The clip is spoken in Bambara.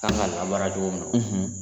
An kan ka ma